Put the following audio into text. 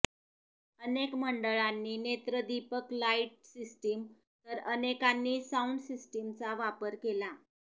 अनेक मंडळांनी नेत्रदीपक लाईट सिस्टीम तर अनेकांनी साऊंड सिस्टीमचा वापर केला